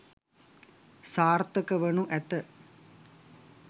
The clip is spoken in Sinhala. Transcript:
සාර්ථකවනු ඇත.